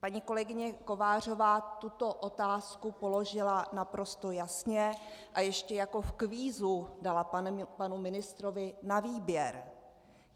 Paní kolegyně Kovářová tuto otázku položila naprosto jasně a ještě jako v kvízu dala panu ministrovi na výběr.